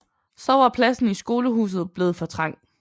Så var pladsen i skolehuset blevet for trang